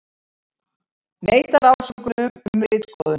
Neitar ásökunum um ritskoðun